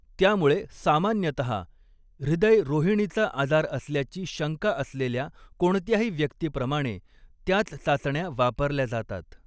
त्यामुळे, सामान्यतः, हृदय रोहिणीचा आजार असल्याची शंका असलेल्या कोणत्याही व्यक्तीप्रमाणे त्याच चाचण्या वापरल्या जातात.